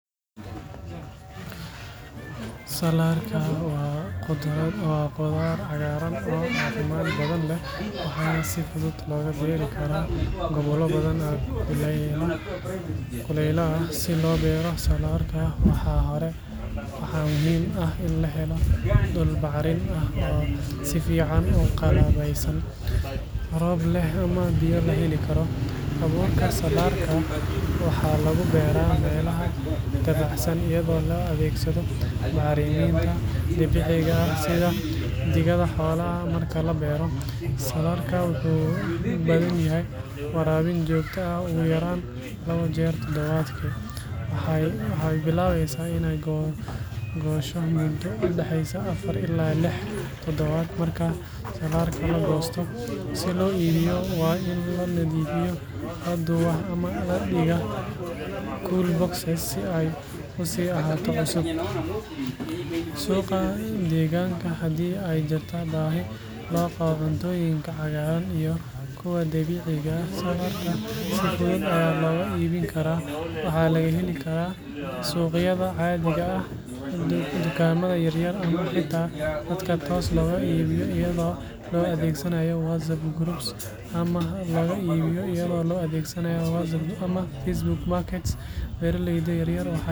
Salaarka waa khudaar cagaaran oo caafimaad badan leh, waxaana si fudud looga beeri karaa gobollo badan oo kuleylaha ah. Si loo beero salaarka, marka hore waxaa muhiim ah in la helo dhul bacrin ah oo si fiican u qalabeysan, roob leh ama biyo la heli karo. Abuurka salaarka waxaa lagu beeraa meelaha dabacsan iyadoo la adeegsado bacriminta dabiiciga ah sida digada xoolaha. Marka la beero, salaarka wuxuu u baahan yahay waraabin joogto ah, ugu yaraan labo jeer toddobaadkii. Waxay bilaabaysaa inay goosho muddo u dhexeysa afar ilaa lix toddobaad. Marka salaarka la goosto, si loo iibiyo waa in la nadiifiyaa, la duubaa ama la dhigaa cool boxes si ay u sii ahaato cusub. Suuqa deegaanka, haddii ay jirto baahi loo qabo cuntooyinka cagaaran iyo kuwa dabiiciga ah, salaarka si fudud ayaa looga iibin karaa. Waxaa laga heli karaa suuqyada caadiga ah, dukaamada yar yar, ama xitaa dadka toos loogaga iibiyo iyadoo la adeegsanayo WhatsApp groups ama Facebook marketplace. Beeraleyda yaryar waxay fursad weyn u helaan inay helaan dakhli wanaagsan haddii ay si joogto ah u beertaan salaarka lagana suuq geeyo si caqli leh.